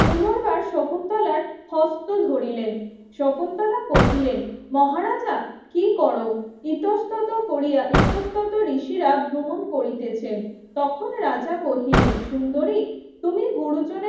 পুনর্বার শকুন্তলার হস্ত ধরিলেন শকুন্তলা কহিলেন মহারাজা কি করো ইতস্তত কোরিয়া ইতস্তত ঋষিরা ভ্রমণ করিতেছেন তখন রাজা কহিলেন সুন্দরী তুমি গুরুজনের